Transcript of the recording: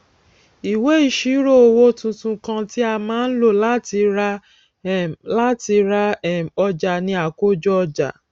ìwé ìṣírò owó tuntun kan tí a má ń lò láti ra um láti ra um ọjà ni àkójọ ọjà